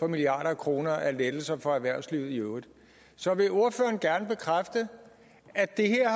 milliarder af kroner i lettelser for erhvervslivet i øvrigt så vil ordføreren gerne bekræfte at det her